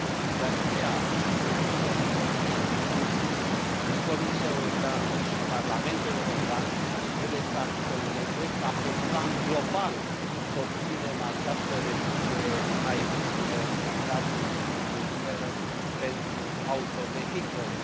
De aceea, consider că atât Consiliul, cât și Comisia Europeană și Parlamentul European trebuie să acționeze ca, pe plan global, să obținem această reducere a emisiilor de gaze cu efect de seră pentru autovehicule.